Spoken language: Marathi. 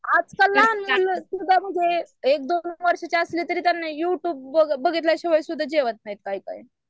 आजकालना म्हणजे एक दोन वर्षाची असले तरी त्यांना यु ट्यूब बघितल्या शिवाय सुद्धा जेवत नाही काही काही